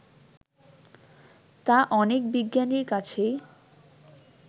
তা অনেক বিজ্ঞানীর কাছেই